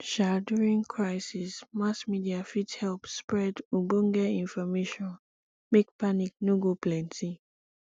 um during crisis mass media fit help spread ogbonge information make panic no go plenty